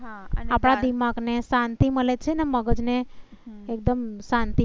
હા આપણા દિમાગ ને શાંતિ મળે છે. મગજ ને એકદમ શાંતિ મળે છે.